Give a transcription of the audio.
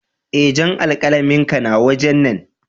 Eh, jan alkalamin ka na waje na.